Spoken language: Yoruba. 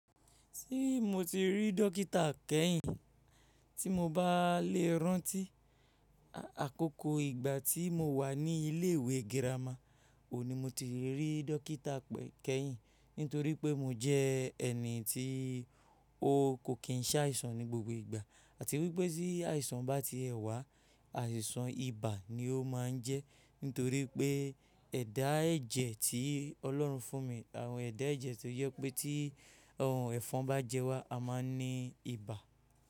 Ṣé mo ti rí dókítà kẹ́yìn tí mo bá lè rántí? Àkókò ìgbà tí mo wà ní ilé ìwé girama òun ní mo ti rí dókítà kẹ́yìn nítorí pé mo jẹ́ ẹni tí ó kò kí ń ṣàìsàn ní gbogbo ìgbà àti wípé tí àìsàn bá ti è wá, àìsàn ibà ni ó máa ń jẹ́ nítorí pé ẹ̀dá ẹ̀jẹ̀ tí Ọlọ́run fún mi, àwọn ẹ̀dá ẹ̀jẹ̀ tó jẹ pé tí ehhnnn ẹ̀fọn bá jẹ wá, a máa ní ibà.